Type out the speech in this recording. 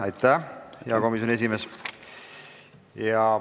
Aitäh, hea komisjoni esimees!